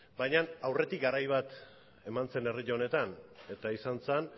baina aurretik garai bat eman zen herri honetan eta izan zen